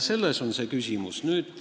Selles on küsimus.